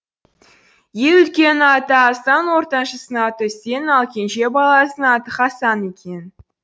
ең үлкенінің аты асан ортаншысының аты үсен ал ең кенже баласының аты хасан екен